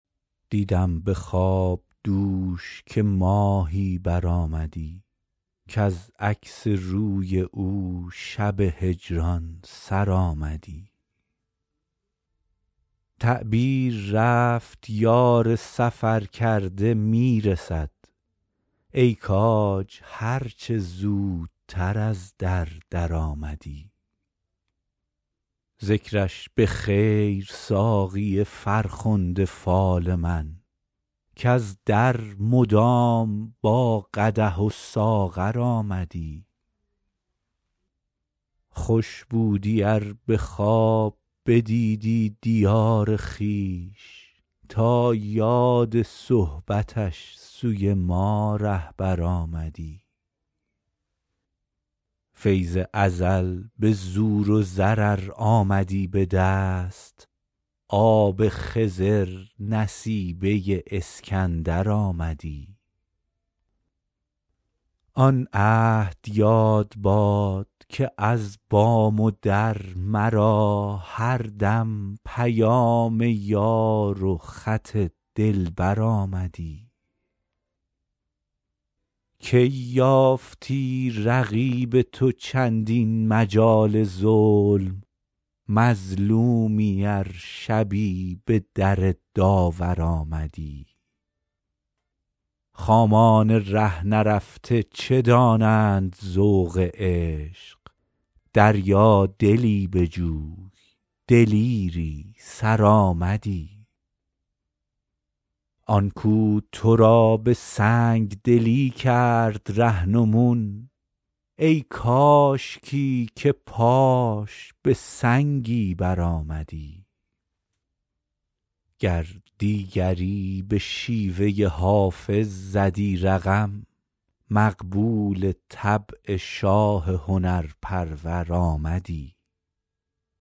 دیدم به خواب دوش که ماهی برآمدی کز عکس روی او شب هجران سر آمدی تعبیر رفت یار سفرکرده می رسد ای کاج هر چه زودتر از در درآمدی ذکرش به خیر ساقی فرخنده فال من کز در مدام با قدح و ساغر آمدی خوش بودی ار به خواب بدیدی دیار خویش تا یاد صحبتش سوی ما رهبر آمدی فیض ازل به زور و زر ار آمدی به دست آب خضر نصیبه اسکندر آمدی آن عهد یاد باد که از بام و در مرا هر دم پیام یار و خط دلبر آمدی کی یافتی رقیب تو چندین مجال ظلم مظلومی ار شبی به در داور آمدی خامان ره نرفته چه دانند ذوق عشق دریادلی بجوی دلیری سرآمدی آن کو تو را به سنگ دلی کرد رهنمون ای کاشکی که پاش به سنگی برآمدی گر دیگری به شیوه حافظ زدی رقم مقبول طبع شاه هنرپرور آمدی